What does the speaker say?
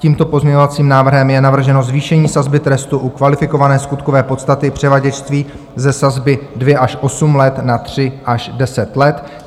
Tímto pozměňovacím návrhem je navrženo zvýšení sazby trestu u kvalifikované skutkové podstaty převaděčství ze sazby 2 až 8 let na 3 až 10 let.